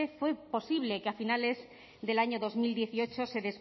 fue posible que a finales del año dos mil dieciocho se